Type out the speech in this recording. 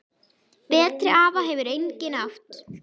Betri afa hefur enginn átt.